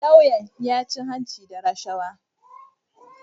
Lauyan ya cin hanci da rashawa